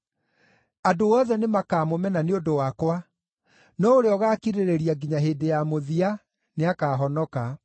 Andũ othe nĩmakamũmena nĩ ũndũ wakwa, no ũrĩa ũgaakirĩrĩria nginya hĩndĩ ya mũthia nĩakahonoka.